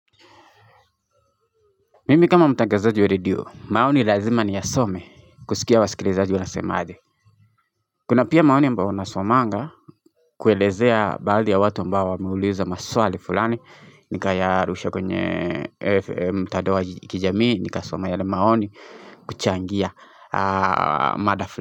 Mimi kama mtangazaji wa redio, maoni lazima ni yasome kusikia wasikilizaji wanasemaje. Kuna pia maoni ambao nasomanga kuelezea badhi ya watu ambao wameuliza maswali fulani. Nikayarusha kwenye FM mtadao wa kijamii, nikasoma yale maoni kuchangia mada fulani.